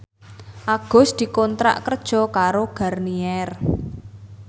Agus dikontrak kerja karo Garnier